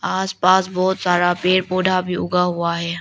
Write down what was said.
आसपास बहुत सारा पेड़ पौधा भी उगा हुआ है।